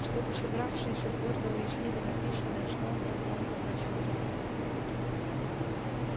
чтобы собравшиеся твёрдо уяснили написанное сноуболл громко прочёл заповеди